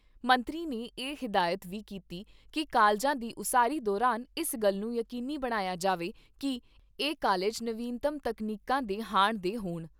ਮੰਤਰੀ ਨੇ ਇਹ ਹਦਾਇਤ ਵੀ ਕੀਤੀ ਕਿ ਕਾਲਜਾਂ ਦੀ ਉਸਾਰੀ ਦੌਰਾਨ ਇਸ ਗੱਲ ਨੂੰ ਯਕੀਨੀ ਬਣਾਇਆ ਜਾਵੇ ਕਿ ਇਹ ਕਾਲਜ ਨਵੀਨਤਮ ਤਕਨੀਕਾਂ ਦੇ ਹਾਣ ਦੇ ਹੋਣ।